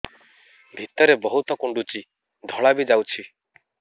ଭିତରେ ବହୁତ କୁଣ୍ଡୁଚି ଧଳା ବି ଯାଉଛି